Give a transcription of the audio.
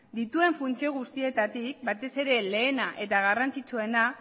dituen funtzio guztietatik batez ere lehena eta garrantzitsuena